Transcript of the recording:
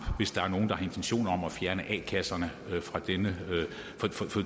hvis der er nogen der har intentioner om at fjerne a kasserne